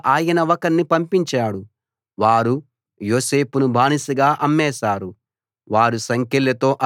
వారికంటే ముందుగా ఆయన ఒకణ్ణి పంపించాడు వారు యోసేపును బానిసగా అమ్మేశారు